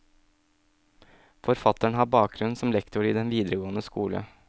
Forfatteren har bakgrunn som lektor i den videregående skole.